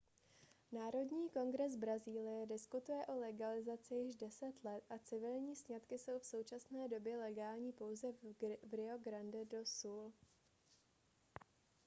národní kongres brazílie diskutuje o legalizaci již 10 let a civilní sňatky jsou v současné době legální pouze v rio grande do sul